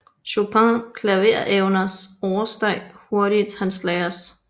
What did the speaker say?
Chopins klaverevner oversteg hurtigt hans lærers